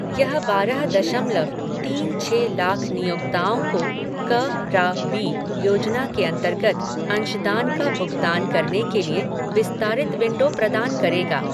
यह बारह दशमलव तीन छः लाख नियोक्ताओं को क रा बी योजना के अंतर्गत अंशदान का भुगतान करने के लिए विस्तारित विंडो प्रदान करेगा।